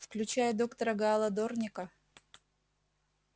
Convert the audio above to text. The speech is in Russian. включая доктора гаала дорника